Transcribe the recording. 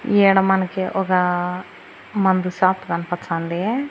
ఈడ మనకి ఒగ మందు షాప్ కనపచ్చాంది.